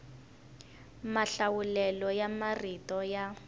mahlawulelo ya marito ya